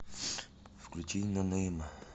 включи нонейма